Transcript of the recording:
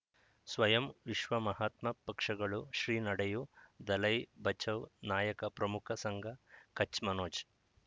ಸ್ವಯಂ ವಿಶ್ವ ಮಹಾತ್ಮ ಪಕ್ಷಗಳು ಶ್ರೀ ನಡೆಯೂ ದಲೈ ಬಚೌ ನಾಯಕ ಪ್ರಮುಖ ಸಂಘ ಕಚ್ ಮನೋಜ್